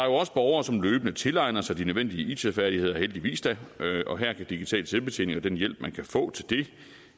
også borgere som løbende tilegner sig de nødvendige it færdigheder heldigvis da og her kan digital selvbetjening og den hjælp man kan få til det